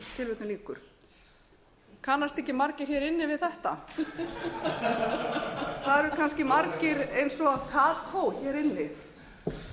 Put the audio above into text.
við erum að tíðka þau hér árið tvö þúsund og tíu og þessi kannast ekki margir hér inni við þetta það eru kannski margir eins og kató hér inni en auðvitað